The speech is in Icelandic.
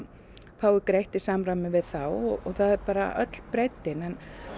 fái greitt í samræmi við þá en það er bara öll breiddin en